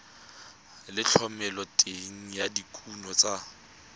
le thomeloteng ya dikuno tsa